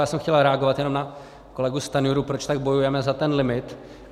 Já jsem chtěl reagovat jenom na kolegu Stanjuru, proč tak bojujeme za ten limit.